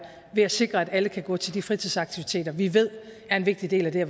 ved at sikre at alle kan gå til de fritidsaktiviteter vi ved er en vigtig del af det